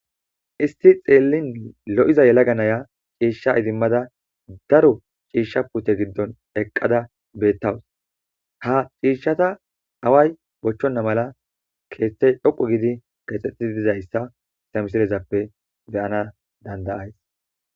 isti xeellin lo7iza yelaga naya ciishsha idimmada daro ciishsha pute giddon eqqada bettawus ha ciishshata away bochchonna mala keethtey dhoqu gidi kexxetidi dizayssa ha misilezappe beyana dandayays